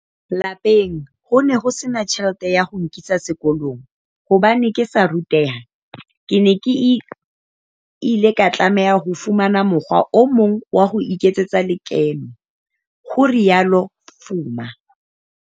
"Lapeng ho ne ho sena tjhelete ya ho nkisa sekolong. Hobane ke sa ruteha, ke ile ka tlameha ho fumana mokgwa o mong wa ho iketsetsa lekeno," ho rialo Fuma.